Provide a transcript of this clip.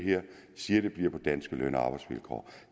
siger at det bliver på danske løn og arbejdsvilkår